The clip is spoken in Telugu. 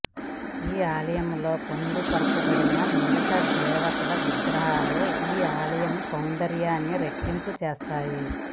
ఈ ఆలయం లో పొందు పరచబడిన మిగతా దేవతల విగ్రహాలు ఈ ఆలయ సొందర్యాన్ని రెట్టింపు చేస్తాయి